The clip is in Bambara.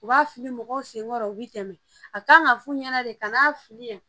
U b'a fili mɔgɔw senkɔrɔ u bɛ tɛmɛ a kan ka fu ɲɛna de ka n'a fili yan